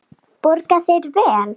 Borga þeir vel?